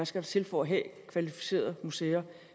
skal til for at have kvalificerede museer